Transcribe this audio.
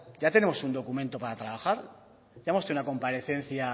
ya tenemos un documento para trabajar si ya hemos tenido una comparecencia